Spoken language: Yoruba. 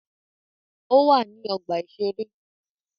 Ó wà ní ọgbà-ìṣeré